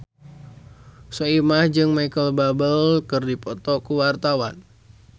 Soimah jeung Micheal Bubble keur dipoto ku wartawan